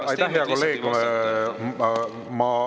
Aitäh, hea kolleeg!